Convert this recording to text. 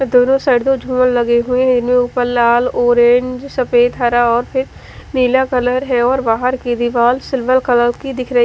और दो दो लगे हुए है ऊपर लाल ऑरेंज सफ़ेद हरा और फिर नीला कलर है और बाहर की दिवार सिल्वर कलर की दिख रही --